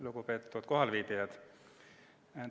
Lugupeetud kohalviibijad!